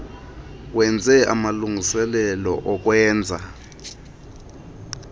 wenze amalungiselelo okwenza